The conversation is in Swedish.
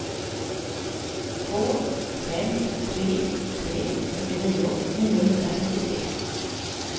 två fem tre tre fyrtionio niohundrafyrtiotre